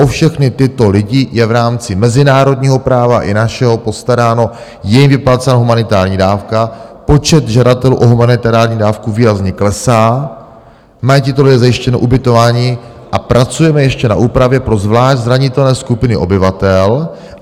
O všechny tyto lidi je v rámci mezinárodního práva i našeho postaráno, je jim vyplácena humanitární dávka, počet žadatelů o humanitární dávku výrazně klesá, mají tito lidé zajištěno ubytování a pracujeme ještě na úpravě pro zvlášť zranitelné skupiny obyvatel.